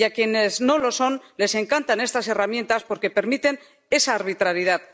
Y a quienes no lo son les encantan estas herramientas porque permiten esa arbitrariedad.